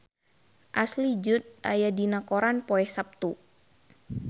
Ashley Judd aya dina koran poe Saptu